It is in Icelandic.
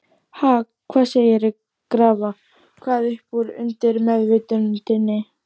Ha, hvað segirðu, grafa hvað upp úr undirmeðvitundinni?